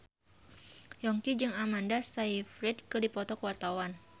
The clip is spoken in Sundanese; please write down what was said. Yongki jeung Amanda Sayfried keur dipoto ku wartawan